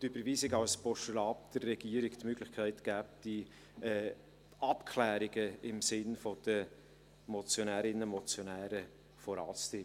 die Überweisung als Postulat der Regierung die Möglichkeit geben würde, die Abklärungen im Sinne der Motionärinnen und Motionäre voranzutreiben.